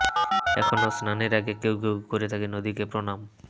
এখনো স্নানের আগে কেউ কেউ করে থাকে নদীকে প্রণাম